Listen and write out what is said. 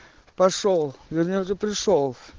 пошёл вернее уже пришёл